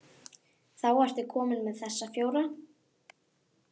Þá ertu kominn með þessa fjóra.